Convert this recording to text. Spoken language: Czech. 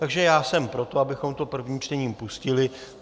Takže já jsem pro to, abychom to prvním čtením pustili.